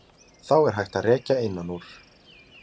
Þá er hægt að rekja innan úr.